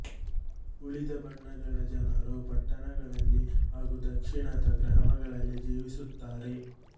ಉಳಿದ ಬಣಗಳ ಜನರು ಪಟ್ಟಣಗಳಲ್ಲಿ ಹಾಗೂ ದಕ್ಷಿಣದ ಗ್ರಾಮಗಳಲ್ಲಿ ಜೀವಿಸುತ್ತಾರೆ